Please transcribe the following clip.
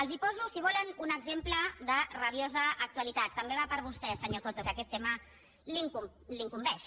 els en poso si volen un exemple de rabiosa actualitat també va per vostè senyor coto que aquest tema l’incumbeix